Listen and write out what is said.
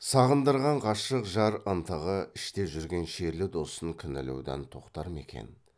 сағындырған ғашық жар ынтығы іште жүрген шерлі досын кінәлаудан тоқтар ма екен